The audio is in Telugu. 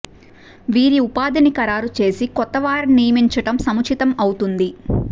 వీరి ఉపాధిని ఖరారు చేసి కొత్త వారిని నియమించడం సముచితం అవుతుంది